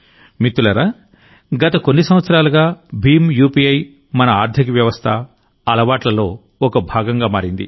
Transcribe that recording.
మిత్రులారాగత కొన్ని సంవత్సరాలుగా భీమ్ యూపీఐ మన ఆర్థిక వ్యవస్థ అలవాట్లలో ఒక భాగంగా మారింది